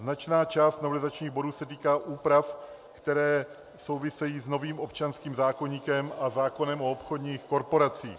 Značná část novelizačních bodů se týká úprav, které souvisejí s novým občanským zákoníkem a zákonem o obchodních korporacích.